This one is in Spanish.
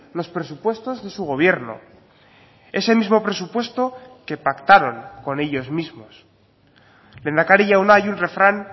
los presupuestos de su gobierno ese mismo presupuesto que pactaron con ellos mismos lehendakari jauna hay un refrán